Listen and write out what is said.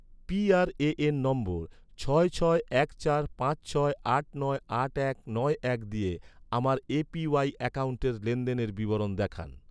PRAN নম্বর, ছয় ছয় এক চার পাঁচ ছয় আট নয় আট এক নয় এক দিয়ে, আমার এ.পি.ওয়াই অ্যাকাউন্টের লেনদেনের বিবরণ দেখান